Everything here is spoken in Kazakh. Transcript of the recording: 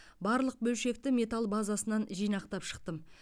барлық бөлшекті металл базасынан жинақтап шықтым